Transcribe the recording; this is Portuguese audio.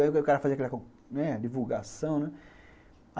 Aí o cara fazia aquela divulgação, né?